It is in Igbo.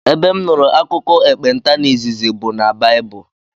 Ebe m nụrụ akụkọ ekpenta n'izizi bụ n' baibulu.